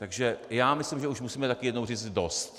Takže já myslím, že už musíme taky jednou říct: dost!